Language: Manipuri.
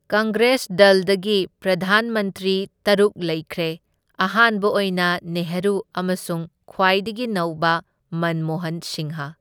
ꯀꯪꯒ꯭ꯔꯦꯁ ꯗꯜꯗꯒꯤ ꯄ꯭ꯔꯙꯥꯟ ꯃꯟꯇ꯭ꯔꯤ ꯇꯔꯨꯛ ꯂꯩꯈ꯭ꯔꯦ, ꯑꯍꯥꯟꯕ ꯑꯣꯏꯅ ꯅꯦꯍꯔꯨ ꯑꯃꯁꯨꯡ ꯈ꯭ꯋꯥꯏꯗꯒꯤ ꯅꯧꯕ ꯃꯟꯃꯣꯍꯟ ꯁꯤꯡꯍ꯫